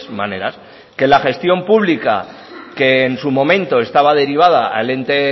maneras que la gestión pública que en su momento estaba derivada al ente